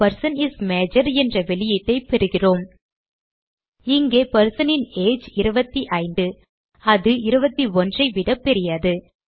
they person is major என்ற வெளியீட்டை பெறுகிறோம் இங்கே person ன் ஏஜ் 25 அது 21 ஐ விட பெரியது